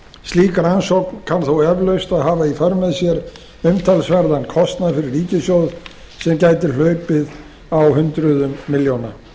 slík rannsókn kann þó eflaust að hafa í för með sér umtalsverðan kostnað fyrir ríkissjóð sem gæti hlaupið á hundruðum milljóna